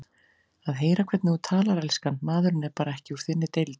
Að heyra hvernig þú talar, elskan, maðurinn er bara ekki úr þinni deild